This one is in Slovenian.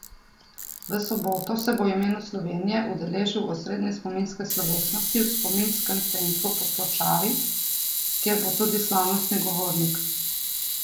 V soboto se bo v imenu Slovenije udeležil osrednje spominske slovesnosti v spominskem centru Potočari, kjer bo tudi slavnostni govornik.